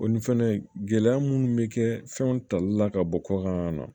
O ni fɛnɛ gɛlɛya munnu bɛ kɛ fɛnw tali la ka bɔ kɔkan na